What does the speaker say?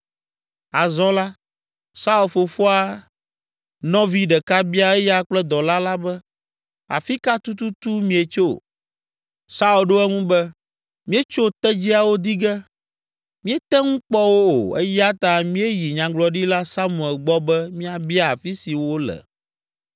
Azɔ la, Saul fofoa nɔvi ɖeka bia eya kple dɔla la be “Afi ka tututu mietso?” Saul ɖo eŋu be, “Míetso tedziawo di ge; míete ŋu kpɔ wo o, eya ta míeyi Nyagblɔɖila Samuel gbɔ be míabia afi si wole.”